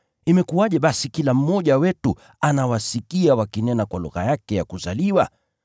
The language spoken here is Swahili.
Imekuwaje basi kila mmoja wetu anawasikia wakinena kwa lugha yake ya kuzaliwa?